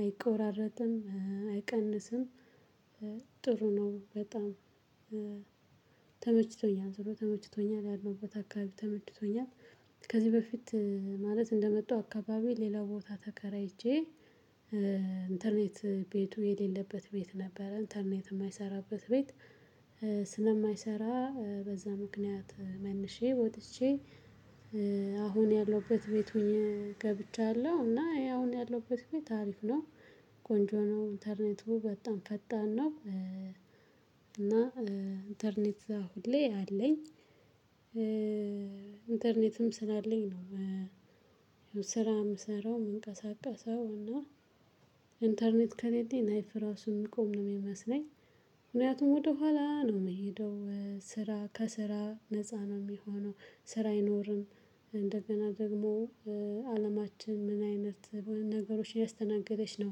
አይቆራረጥም አይቀንስም። ጥሩ ነው በጣም ተመችቶኛል ጥሩ ተመችቶኛል ያለውበት አካባቢ ተመችቶኛል። ከዚህ በፊት ማለት እንደመጣው አካባቢ ሌላ ቦታ ተከራይቼ ኢንተርኔት ቤቱ የሌለበት ቤት ነበረ ኢንተርኔት የማይሰራበት ቤት። ስለማይሰራ በዛ ምክንያት መልሼ ወጥቼ አሁን ያለሁበት ቤት ሆኜ ገብቻለሁ እና አሁን ያለሁበት ቤት አሪፍ ነው። ቆንጆ ነው ኢንተርኔት በጣም ፈጣን ነው እና ኢንተርኔት ሁሌ አለኝ። ኢንተርኔትም ስላለኝ ነው። ስራ የምሰራው የምንቀሳቀሰው እና ኢንተርኔት ከሌለኝ ላይፍ እራሱ ሚቆም ነው የሚመስለኝ። ምክንያቱም ወደኋላ ነው የምሄደው ስራ ከስራ ነፃ ነው የምሆነው ስራ አይኖርም። እንደገና ደግሞ አለማችን ምን አይነት ነገሮችን ያስተናገደች ነው?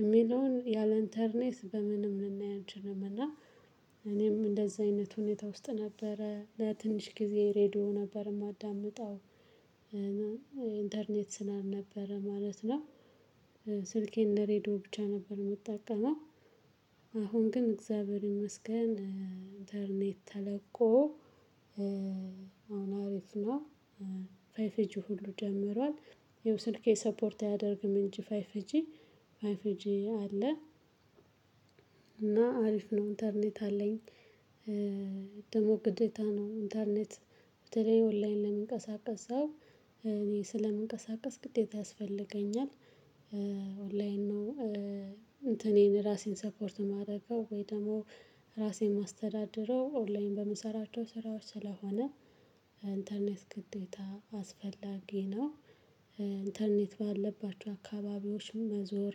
የሚለውን ያለ ኢንተርኔት በምንም ልናይ አንችልም እና። እኔም እንደዚህ አይነት ሁኔታ ውስጥ ነበረ ለትንሽ ጊዜ ሬድዮ ነበር የማዳምጠው። ኢንተርኔት ስላልነበረ ማለት ነው። ስልኬን ለሬድዮ ብቻ ነበር የምጠቀመው። አሁን ግን እግዚአብሔር ይመስገን። ኢንተርኔት ተለቆ አሁን አሪፍ ነው። ፍይቭጂ ሁሉ ጀምሯል። ይኸው ስልኬ ሰፖርት አያደርግም እንጂ ፋይቭ ጂ ፋይቭ ጂ አለ። እና አሪፍ ነው ኢንተርኔት አለኝ። ደግሞ ግዴታ ነው ኢንተርኔት በተለይ ኦንላይን ለሚንቀሳቀስ ሰው እኔ ስለምንቀሳቀስ ግዴታ ያስፈልገኛል። ኦንላይን ነው። እንትኔን ራሴን ሰፖርት የማደርገው ወይ ደግሞ ራሴን የማስተዳድረው ኦንላይን በምሰራቸው ስራዎች ስለሆነ ኢንተርኔት ግዴታ አስፈላጊ ነው። ኢንተርኔት ባለባቸው አካባቢዎችን መዞር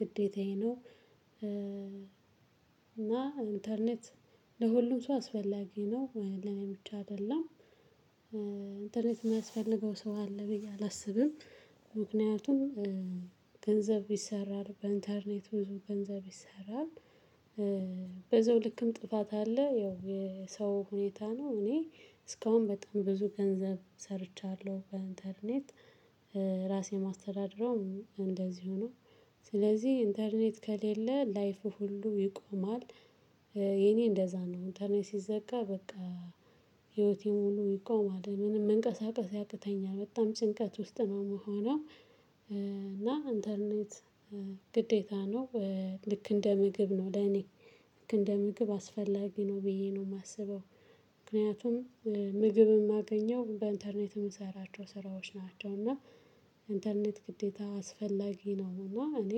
ግዴታዬ ነው እና ኢንተርኔት ለሁሉም ሰው አስፈላጊ ነው ለኔ ብቻ አይደለም። ኢንተርኔት የማያስፈልገው ሰው አለ ብዬ አላስብም። ምክንያቱም ገንዘብ ይሰራል በኢንተርኔት ብዙ ገንዘብ ይሰራል። በዛው ልክም ጥፋት አለ ያው የሰው ሁኔታ ነው እኔ እስካሁን በጣም ብዙ ገንዘብ ሰርቻለሁ በኢንተርኔት። ራሴን ማስተዳድረው እንደዚሁ ነው። ስለዚህ ኢንተርኔት ከሌለ ላይፉ ሁሉ ይቆማል። የኔ እንደዛ ነው ኢንተርኔት ሲዘጋ በቃ ህይወቴ ሙሉ ይቆማል ምንም መንቀሳቀስ ያቅተኛል በጣም ጭንቀት ውስጥ ነው ምሆነሁ። እና ኢንተርኔት ግዴታ ነው። ልክ እንደ ምግብ ነው ለኔ ልክ እንደ ምግብ አስፈላጊ ነው ብዬ ነው የማስበው። ምክንያቱም ምግብ የማገኘው በኢንተርኔት በምሰራቸው ስራዎች ናቸው። እና ኢንተርኔት ግዴታ አስፈላጊ ነውና እኔ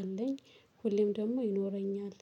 አለኝ ሁሌም ደግሞ ይኖረኛል።